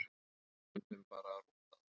Stundum bara rúntað.